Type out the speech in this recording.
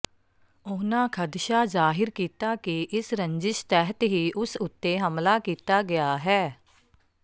ਉਨ੍ਹਾਂ ਖ਼ਦਸ਼ਾ ਜ਼ਾਹਿਰ ਕੀਤਾ ਕਿ ਇਸ ਰੰਜਿਸ਼ ਤਹਿਤ ਹੀ ਉਸ ਉੱਤੇ ਹਮਲਾ ਕੀਤਾ ਗਿਆ ਹੈ